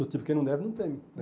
Do tipo, quem não deve, não teme.